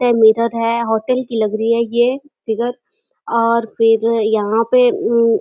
ते मीठा उठा है। होटल की लग रही है। ये फिगर और फिर यहाँ पे उ --